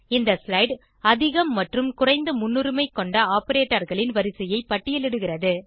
இந்த ஸ்லைடு அதிகம் மற்றும் குறைந்த முன்னுரிமை கொண்ட operatorகளின் வரிசையை பட்டியலிடுகிறது